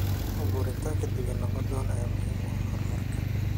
Abuuritaanka deegaan nabdoon ayaa muhiim u ah horumarka.